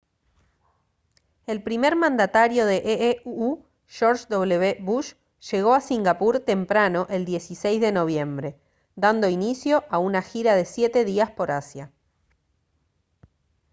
el primer mandatario de ee uu george w bush llegó a singapur temprano el 16 de noviembre dando inicio a una gira de siete días por asia